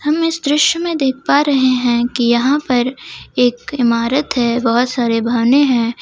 हम इस दृश्य में देख पा रहे हैं कि यहां पर एक इमारत है बहुत सारे वाहने हैं।